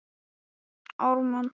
Og auðvitað var það satt og rétt.